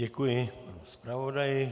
Děkuji panu zpravodaji.